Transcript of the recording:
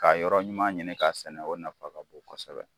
Ka yɔrɔ ɲuman ɲini k'a sɛnɛ, o nafa ka bon kosɛbɛ.